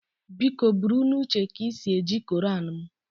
Biko buru n'uche ka i si eji koran m